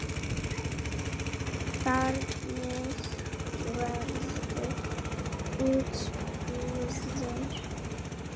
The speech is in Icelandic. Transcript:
Þarna verði íbúðir.